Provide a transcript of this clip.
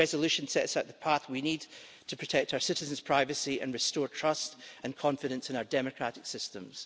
This resolution sets out the path we need to protect our citizens' privacy and restore trust and confidence in our democratic systems.